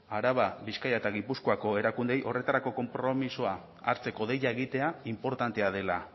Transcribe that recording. araba bizkaia eta gipuzkoako erakundeei horretarako konpromisoa hartzeko deia egitea inportantea dela